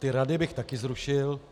Ty rady bych tady zrušil.